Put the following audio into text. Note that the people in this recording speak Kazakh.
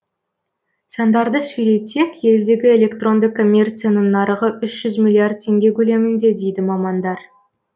сандарды сөйлетсек елдегі электронды коммерцияның нарығы үш жүз миллиард теңге көлемінде дейді мамандар